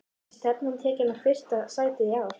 Er stefnan tekin á fyrsta sætið í ár?